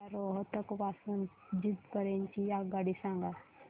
मला रोहतक पासून तर जिंद पर्यंत ची आगगाडी सांगा